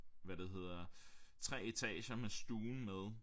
Hvad det hedder 3 etager med stuen med